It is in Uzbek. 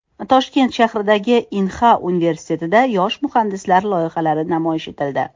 Toshkent shahridagi Inha universitetida yosh muhandislar loyihalari namoyish etildi.